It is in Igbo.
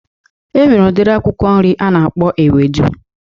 E nwere udiri akwụkwọ nri a na-akpọ ewedu